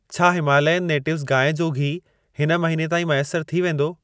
छा Himalayan natives गांइ जो घी हिन महीने ताईं मैसर थी वेंदो?